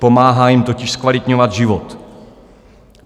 Pomáhá jim totiž zkvalitňovat život.